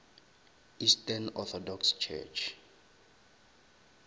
eastern orthodox church